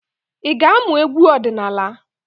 Ị ga-amụ egwu ọdịnaala?